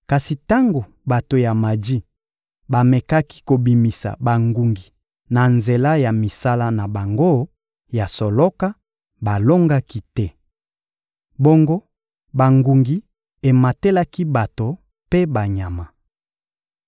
Kasi tango bato ya maji bamekaki kobimisa bangungi na nzela ya misala na bango ya soloka, balongaki te. Bongo bangungi ematelaki bato mpe banyama.